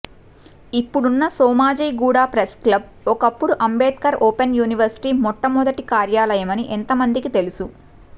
ఇప్పుడున్న సోమాజిగూడ ప్రెస్క్లబ్ ఒకప్పుడు Ambedkar open university మొట్టమొదటి కార్యాలయమని ఎంతమందికి తెలుసు